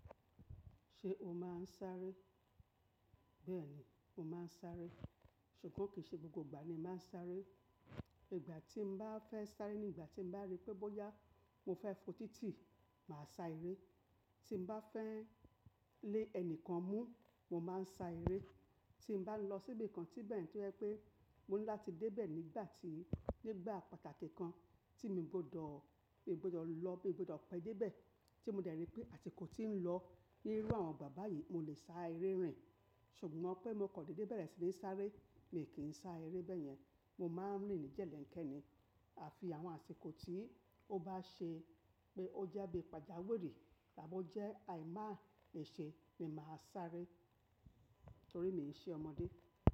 Ṣé o máa ń sáré? Bẹ́ẹ̀ni, mo máa ń sáré, ṣùgbọ́n kì í ṣe gbogbo ìgbà ni màá ń sáré. Ìgbà tí mo bá fẹ́ sáré ni ìgbà tí mo bá rí pé bóyá mo fẹ́ fo títì, màá sa eré. Tí mo bá fẹ́ lé ẹnìkan mú, mo máa ń sá eré. Tí mo bá lọ síbi kan tí bẹ́ẹ̀ ni tó jẹ́ pé mo ní láti dé bẹ̀ nígbà tí, nígbà pàtàkì kan tí mi ò gbọdọ̀, mi ò gbọdọ̀ lọ bí mi ò gbọdọ̀ pẹ́ dé bẹ̀ tí mo dẹ̀ rí pé àsikò tí ì ń lọ ní irú àwọn igbá yìí, mo lè sá eré rìn. Ṣùgbọ́n pé mo kò dédé bẹ̀rẹ̀ sí ní sáré, mi ò kí ń sá eré bẹ́yẹn. Mo máa ń rìn ní jẹ̀lẹ̀ńkẹ́ ni. Àfi àwọn àsìkò tí ó bá ṣe pé ó jẹ́ bí i pàjáwìrì tàbí ó jẹ́ àìmá ì ṣe ni màá sáré torí mii nṣe ọmọdé.